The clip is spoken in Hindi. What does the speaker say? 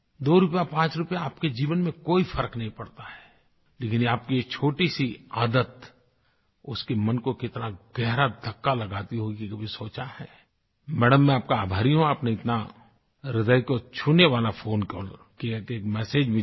दो रूपया पांच रूपया आपके जीवन में कोई फ़र्क नहीं पड़ता है लेकिन आपकी ये छोटीसी आदत उसके मन को कितना गहरा धक्का लगाती होगी कभी ये सोचा है मैडम मैं आप का आभारी हूँ आपने इतना ह्रदय को छूने वाला फोन कॉल करके एक मेसेज मुझे दिया